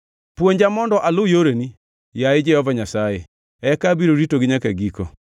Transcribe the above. Puonja mondo alu yoreni, yaye Jehova Nyasaye, eka abiro ritogi nyaka giko.